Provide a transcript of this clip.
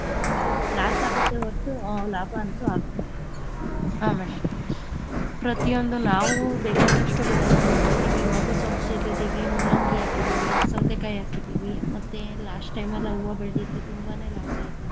ಇಲ್ಲಿ loss ಆಗುತ್ತೆ ಹೊರ್ತು ಲಾಭ ಅಂತೂ ಆಗಲ್ಲ ಪ್ರತಿಯೊಂದು ನಾವು ಬೇಕಾದಷ್ಟು ಬೆಳೆನ ಬೆಳದಿದ್ದೀವಿ ಇವಾಗ ಸೊಪ್ಪು , ಮೂಲಂಗಿ ಹಾಕಿದೀವಿ, ಸೌತೆಕಾಯಿ ಹಾಕಿದೀವಿ ಮತ್ತೆ last time ಎಲ್ಲಾ ಹೂವ ಬೆಳ್ದಿದ್ವಿ ತುಂಬಾನೇ loss ಆಯ್ತು ನಮ್ಗೆ.